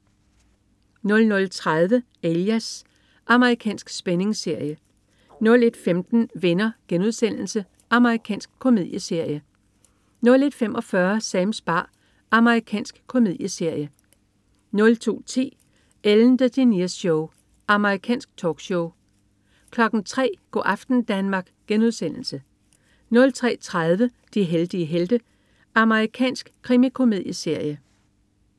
00.30 Alias. Amerikansk spændingsserie 01.15 Venner.* Amerikansk komedieserie 01.45 Sams bar. Amerikansk komedieserie 02.10 Ellen DeGeneres Show. Amerikansk talkshow 03.00 Go' aften Danmark* 03.30 De heldige helte. Amerikansk krimikomedieserie